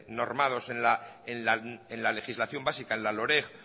normados ya en la legislación básica en la loreg